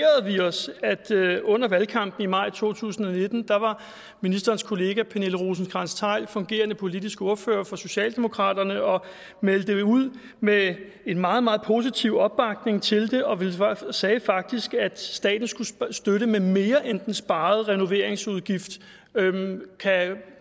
vi os at under valgkampen i maj to tusind og nitten var ministerens kollega pernille rosenkrantz theil fungerende politisk ordfører for socialdemokraterne og meldte ud med en meget meget positiv opbakning til det og sagde faktisk at staten skulle støtte med mere end den sparede renoveringsudgift kan